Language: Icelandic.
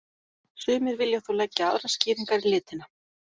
Sumir vilja þó leggja aðrar skýringar í litina.